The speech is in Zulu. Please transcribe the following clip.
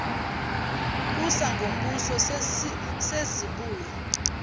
kusa ngomuso sezibuya